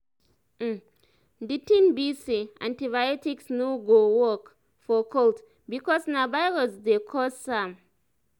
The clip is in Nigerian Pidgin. um di um tin be say antibiotics no go work for cold because na virus dey cause am